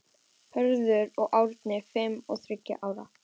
Hörður og Árni, fimm og þriggja ára.